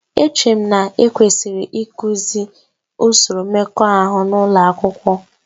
Echere m na ekwesịrị ịkụzi usoro mmekọahụ n'ụlọ akwụkwọ